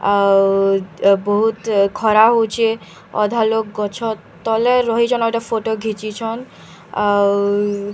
ଆଉ ବହୁତ ଖରା ହଉଛେ ଅଧା ଲୋକ୍‌ ଗଛ ତଲେ ରହିଛନ୍‌ ଆଉ ଏଟା ଫୋଟୋ ଘିଚିଛନ ଆଉ --